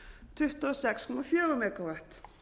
tuttugu og sex komma fjögur megavatt